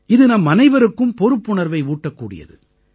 இது நம்மனைவருக்கும் பொறுப்புணர்வை ஊட்டக் கூடியது